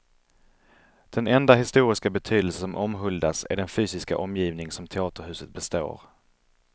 Den enda historiska betydelse som omhuldas är den fysiska omgivning som teaterhuset består.